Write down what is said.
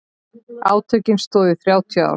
Átökin stóðu í þrjátíu ár.